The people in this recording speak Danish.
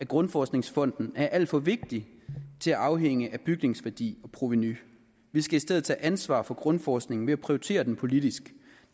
grundforskningsfond er alt for vigtig til at afhænge af bygningsværdi og provenu vi skal i stedet tage ansvar for grundforskningen ved at prioritere den politisk